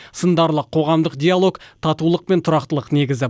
сындарлы қоғамдық диалог татулық пен тұрақтылық негізі